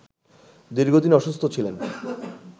দীর্ঘদিন অসুস্থ ছিলেন